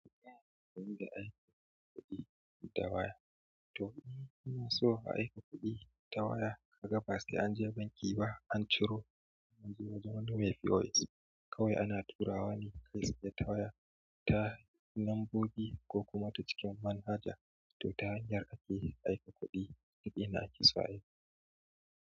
Yin da aika kuɗi ta waya. To, in ka so aika kuɗi ta waya, ka ga basai anje banki ba, an ciro wajen Nume pos. Kawai ana turawa ne ta waya ta lambobi ko kuma ta cikin manhaja. To, ta hanyar ake aika kuɗi, kuɗi na isa ne.